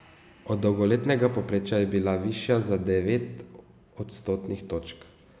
Od dolgoletnega povprečja je bila višja za devet odstotnih točk.